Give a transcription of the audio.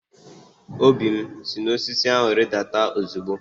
Obi, si n'osisi ahu ridata ozugbo!